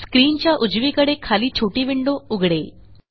स्क्रीनच्या उजवीकडे खाली छोटी विंडो उघडेल